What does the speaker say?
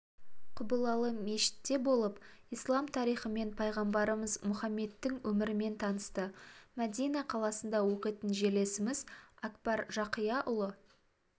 құбылалы мешітте болып ислам тарихымен пайғамбарымыз мұхаммедтің өмірімен танысты мәдина қаласында оқитын жерлесіміз әкбар жақияұлы